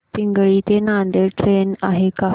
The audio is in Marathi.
पिंगळी ते नांदेड ट्रेन आहे का